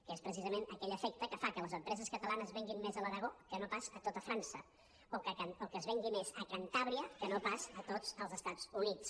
que és precisament aquell efecte que fa que les empreses catalanes venguin més a l’aragó que no pas a tot frança o que es vengui més a cantàbria que no pas a tots els estats units